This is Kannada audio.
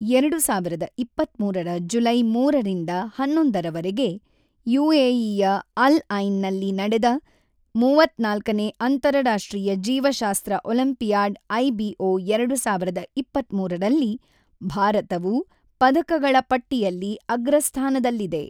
ಎರಡು ಸಾವಿರದ ಇಪ್ಪತ್ತ್ಮೂರರ ಜುಲೈ ಮೂರರಿಂದ ಹನ್ನೊಂದ ರವರೆಗೆ ಯುಎಇಯ ಅಲ್ ಐನ್ ನಲ್ಲಿ ನಡೆದ ಮೂವತ್ತ್ನಾಲ್ಕನೇ ಅಂತರರಾಷ್ಟ್ರೀಯ ಜೀವಶಾಸ್ತ್ರ ಒಲಿಂಪಿಯಾಡ್ ಐಬಿಒ ಎರಡು ಸಾವಿರದ ಇಪ್ಪತ್ತ್ಮೂರು ರಲ್ಲಿ ಭಾರತವು ಪದಕಗಳ ಪಟ್ಟಿಯಲ್ಲಿ ಅಗ್ರಸ್ಥಾನದಲ್ಲಿದೆ.